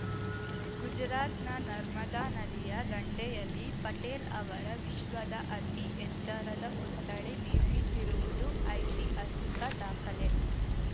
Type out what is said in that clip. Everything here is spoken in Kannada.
ಗುಜರಾತ್‌ನ ನರ್ಮದಾ ನದಿಯ ದಂಡೆಯಲ್ಲಿ ಪಟೇಲ್‌ ಅವರ ವಿಶ್ವದ ಅತಿ ಎತ್ತರದ ಪುತ್ಥಳಿ ನಿರ್ಮಿಸಿರುವುದು ಐತಿಹಾಸಿಕ ದಾಖಲೆ